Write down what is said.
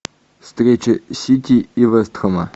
встреча сити и вест хэма